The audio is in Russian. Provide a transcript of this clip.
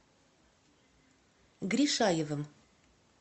гришаевым